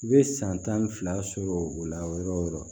I bɛ san tan ni fila sɔrɔ o la yɔrɔ o yɔrɔ